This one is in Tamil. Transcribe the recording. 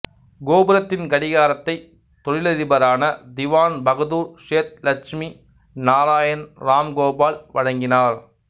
கோபுரத்தின் கடிகாரத்தை தொழிலதிபரான திவான் பகதூர் சேத் இலட்சுமி நாராயண் ராம்கோபால் வழங்கினார்